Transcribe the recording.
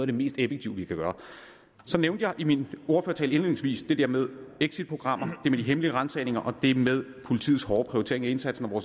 det mest effektive vi kan gøre så nævnte jeg i min ordførertale indledningsvis det der med exitprogrammer det med de hemmelige ransagninger og det med politiets hårde prioritering af indsatsen